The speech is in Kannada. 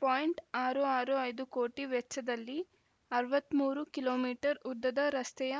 ಪಾಯಿಂಟ್ ಆರು ಆರು ಐದು ಕೋಟಿ ವೆಚ್ಚದಲ್ಲಿ ಅರವತ್ತ್ ಮೂರು ಕಿಲೋ ಮೀಟರ್ ಉದ್ದದ ರಸ್ತೆಯ